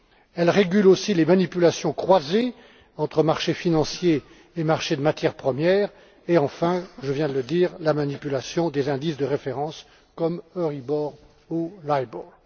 Elle régule aussi les manipulations croisées entre marchés financiers et marchés des matières premières et enfin, je viens de le dire, la manipulation des indices de référence, comme l'Euribor ou le LIBOR.